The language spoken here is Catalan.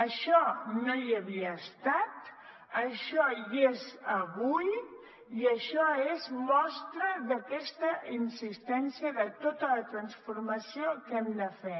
això no hi havia estat això hi és avui i això és mostra d’aquesta insistència de tota la transformació que hem de fer